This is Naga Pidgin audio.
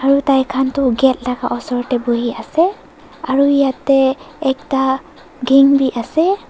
aru tai khan tu gate laga oshor teh bohi ase aru yate ekta gang be ase.